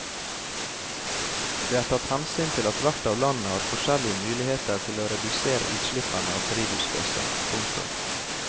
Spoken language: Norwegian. Det er tatt hensyn til at hvert av landene har forskjellige muligheter til å redusere utslippene av drivhusgasser. punktum